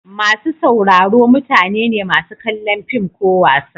Masu sauraro mutane ne masu kallon fim ko wasa.